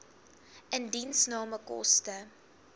indiensname koste